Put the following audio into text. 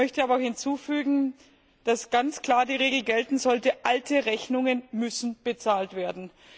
Ich möchte aber hinzufügen, dass ganz klar die Regel gelten sollte Alte Rechnungen müssen bezahlt werden.